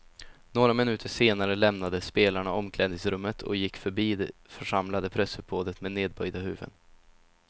Några minuter senare lämnade spelarna omklädningsrummet och gick förbi det församlade pressuppbådet med nedböjda huvuden.